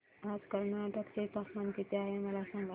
आज कर्नाटक चे तापमान किती आहे मला सांगा